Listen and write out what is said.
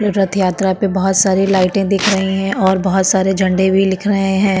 तीर्थ यात्रा पे बहोत सारे लाइट दिख रही हैं और बहोत सारे झेंडे भी दिख रहे हैं।